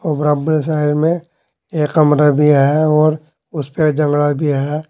बराब्बर side में एक कमरा भी है और उसपे जंगड़ा दिया है।